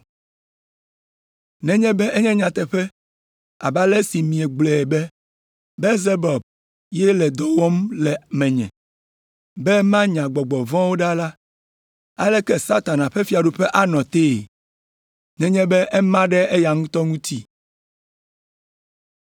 Nenye be enye nyateƒe abe ale si miegblɔe be Belzebul ye le dɔ wɔm le menye be manya eƒe gbɔgbɔ vɔ̃wo ɖa la, aleke Satana ƒe fiaɖuƒe anɔ tee, nenye be ema ɖe eya ŋutɔ ŋuti?